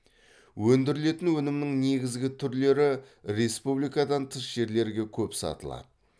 өндірілетін өнімнің негізгі түрлері республикадан тыс жерлерге көп сатылады